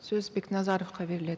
сөз бекназаровқа беріледі